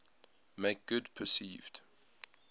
make good perceived